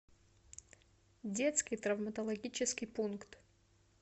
детский травматологический пункт